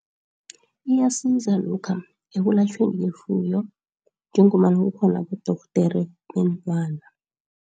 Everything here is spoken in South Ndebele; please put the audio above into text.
Iyasiza lokha ekulatjhweni kwefuyo njengombana kukhona abodorhodere beenlwana.